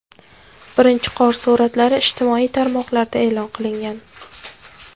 Birinchi qor suratlari ijtimoiy tarmoqlarda e’lon qilingan.